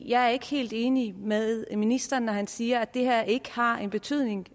jeg er ikke helt enig med ministeren når han siger at det her ikke har en betydning